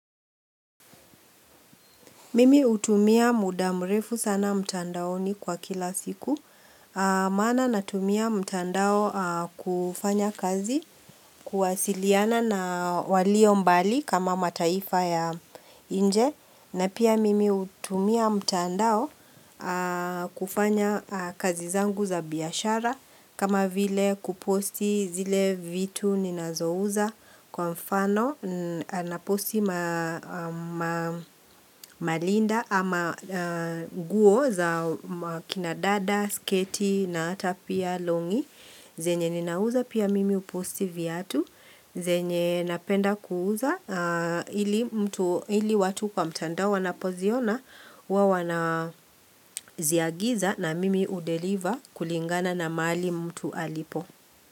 Mimi utumia muda mrefu sana mtandaoni kwa kila siku. Maana natumia mtandao kufanya kazi kuwasiliana na walio mbali kama mataifa ya nje. Na pia mimi utumia mtandao kufanya kazi zangu za biashara. Kama vile kuposti zile vitu ninazouza kwa mfano na posti malinda ama guo za kina dada, sketi na ata pia longi zenye ninauza pia mimi uposti viatu zenye napenda kuuza ili watu kwa mtandao wanapoziona huwa wanaziagiza na mimi udeliver kulingana na mahali mtu alipo.